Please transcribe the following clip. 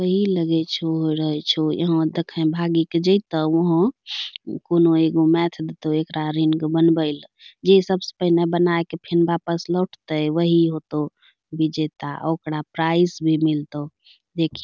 ई लगै छो रहै छो यहाँ दखैं भागी कअ जैतो वहां कोनो एगो मैथ देतो एकरा अरिन कअ बनबैल जे सबसे पहने बनाय कअ फिन बापस लौटते वही होतो विजैता ओकरा प्राइस भी मिलतो देखिं --